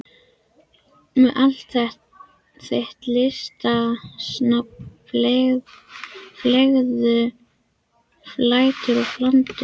Með allt þitt listasnobb, fleðulæti og flandur.